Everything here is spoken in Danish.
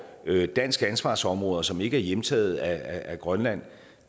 danske ansvarsområder som ikke er hjemtaget af grønland